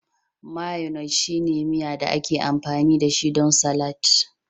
Mayonnaise shine miya da ake amfani dashi don salatin